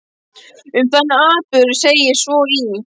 Um þann atburð segir svo í